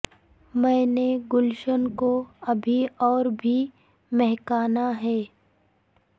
میں نے گلشن کو ابھی اور بھی مہکانا ہے